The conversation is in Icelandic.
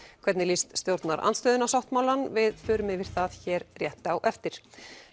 hvernig líst stjórnarandstöðunni á sáttmálann við förum yfir það hér rétt á eftir